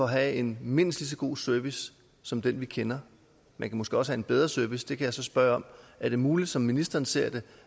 have en mindst lige så god service som den vi kender man kan måske også have en bedre service det kan jeg så spørge om er det muligt som ministeren ser det